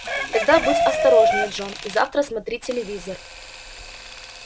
тогда будь осторожнее джон и завтра смотри телевизор